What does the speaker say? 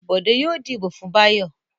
Bọ̀dé yóò dìbò fún Báyọ̀.